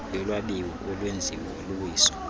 yolwabiwo olwenziwo luwiso